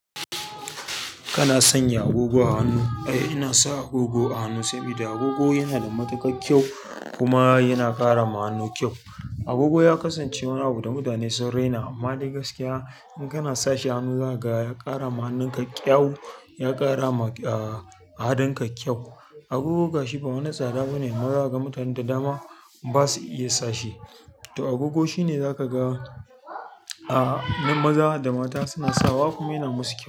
Kana sanya agogo a hannu? Eh, ina sa agogo a hannu sabida agogo yana da matuƙar kyau kuma yana ƙara ma hannu kyau. Agogo ya kasance wani abu da mutane sun rina amma dai gaskiya in kana sashi a hannu za ka ga ya ƙara ma hannun kyau, ya ƙara ma a haɗin ka kyau. Agogo gashi ba wani tsada bane amman zakaga mutan da dama ba su iya sashe. To agogo shine za ka ga maza da mata suna sawa kuma yana musu kyau.